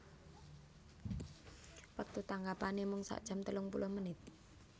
Wektu tanggapanè mung sakjam telungpuluh menit